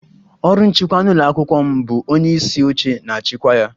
Ọrụ nchịkwa n'ụlọ akwụkwọ m bu onye isi oche na-achịkwa ya